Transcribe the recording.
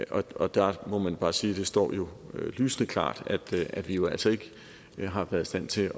og der må man bare sige det står jo lysende klart at vi jo altså ikke har været i stand til